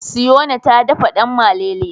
Siyona ta dafa danmalele.